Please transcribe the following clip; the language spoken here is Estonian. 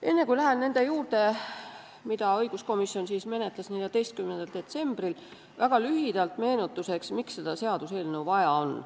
Enne kui lähen nende ettepanekute juurde, mida õiguskomisjon menetles 14. detsembril, ütlen väga lühidalt meenutuseks, miks seda seaduseelnõu vaja on.